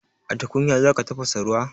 A tukunya za ka tafasa ruwa?